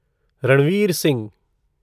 Ranveer Singh